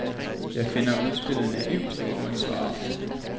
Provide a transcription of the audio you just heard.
Jeg finder udspillet naivt og uansvarligt.